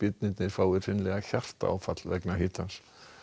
þeir fái hreinlega hjartaáfall vegna hitans